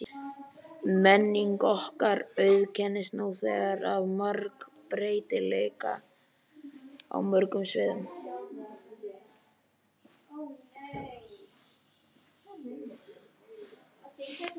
Menning okkar auðkennist nú þegar af margbreytileika á mörgum sviðum.